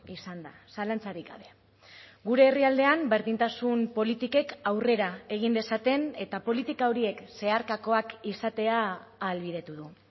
izan da zalantzarik gabe gure herrialdean berdintasun politikek aurrera egin dezaten eta politika horiek zeharkakoak izatea ahalbidetu du